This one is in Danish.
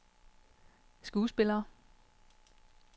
skuespillere